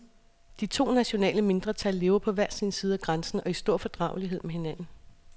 De to nationale mindretal lever på hver side af grænsen og i stor fordragelighed med hinanden.